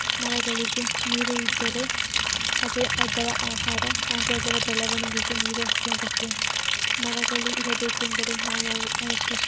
ಮರಗಳಿಗೆ ನೀರು ಇದ್ದರೆ ಅದೇ ಅದರ ಆಹಾರ ಹಾಗು ಅದರ ಬೆಳವಣಿಗೆಗೆ ನೀರು ಅತ್ಯಗತ್ಯ ಮರಗಳು ಇರಬೇಕೆಂದರೆ ನಾವು ಅವು ಅವುಕ್ಕೆ --